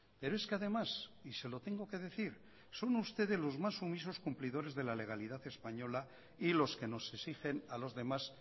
pero es que además y se lo tengo que decir son ustedes los más sumisos cumplidores de la legalidad española y los que nos exigen a los demás